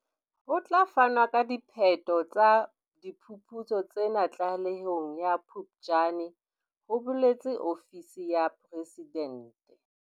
Ho tla fanwa ka diphetho tsa diphuputso tsena tlalehong ya Phuptjane, ho boletse ofisi ya Presidente.